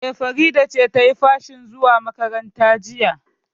E, Farida ce ta yi fashin zuwa makaranta jiya.